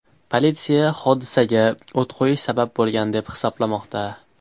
Politsiya hodisaga o‘t qo‘yish sabab bo‘lgan deb hisoblamoqda.